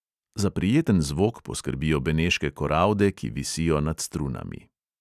Za prijeten zvok poskrbijo beneške koralde, ki visijo nad strunami.